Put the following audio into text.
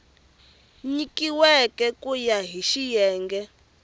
nyikiweke ku ya hi xiyenge